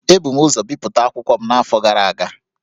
Ebu m ụzọ bipụta akwụkwọ m n’afọ gara aga